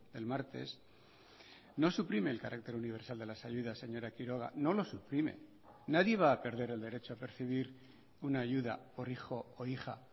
el martes no suprime el carácter universal de las ayudas señora quiroga no lo suprime nadie va a perder el derecho a percibir una ayuda por hijo o hija